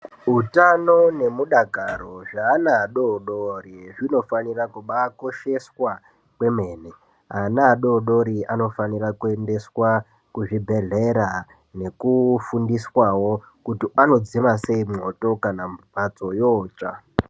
Utano nemudakaro zvaana adodori, zvinofanira kubaakosheswa kwemene. Ana adodori anofanira kuendeswa kuzvibhedhlera, nekufundiswawo kuti anodzima sei mwoto, kana mphatso yootsva.